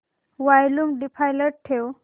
volume default ठेव